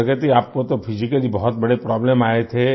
प्रगति आपको तो फिजिकली बहुत बड़े प्रोब्लेम आए थे